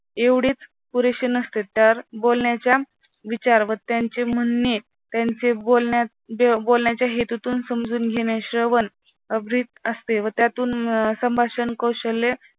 एवढीच पुरेशी नसते तर बोलण्याच्या विचार व त्यांचे म्हणणे त्यांच्या बोलण्यात बोलण्याच्या हेतुतून समजून घेणे श्रवण अभित असते व त्यातून संभाषण कौशल्य